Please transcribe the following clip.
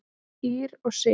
Ýrr og Sif.